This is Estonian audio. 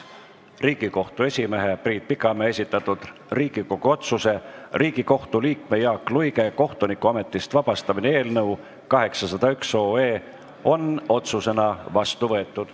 Riigikohtu esimehe Priit Pikamäe esitatud Riigikogu otsuse "Riigikohtu liikme Jaak Luige kohtunikuametist vabastamine" eelnõu 801 on otsusena vastu võetud.